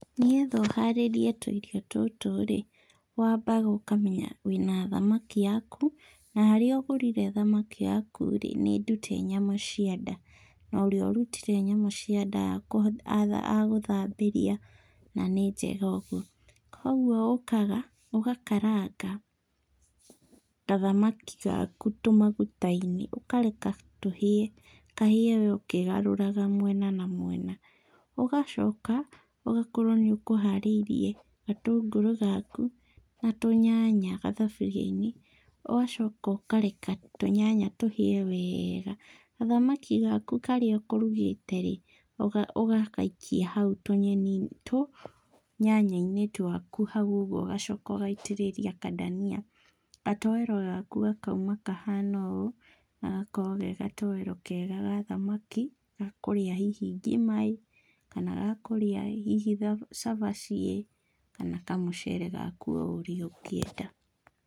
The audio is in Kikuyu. Nĩgetha ũharĩrie tũirio tũtũrĩ, wambaga ũkamenya wĩ na thamaki yaku, na harĩa ũgũrire thamaki yakurĩ nĩ ndute nyama cia nda, na ũrĩa ũrutire nyama cia nda agũthambĩria na nĩ njega ũguo, kwoguo ũkaga ũgakaranga, gathamaki gaku tũmaguta - inĩ, ũkareka tũhĩe, kahĩe we ũkĩgaruraga mwena, na mwena, ũgacoka ũgakorwo nĩ ũkũharĩrie gatũngũrũ gaku na tũnyanya gathaburia -inĩ, ũgacoka ũkareka tũnyanya tũhĩe weega, gathamaki gaku karĩa ũkũrugĩterĩ ũga ũgagaikia hau tũnyeni tũ nyanya-inĩ twaku hau ũguo ũgacoka ũgaitĩrĩria kandania, gatoero gaku gakaima kahana ũũ, gagakorwo gegatoero kega gathamaki, gakũrĩa hihi ngimaĩ, kana gakũrĩa hihi tha cabaciĩ, kana kamũcere gaku oũrĩa ũngĩenda.